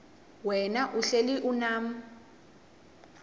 wena uhlel unam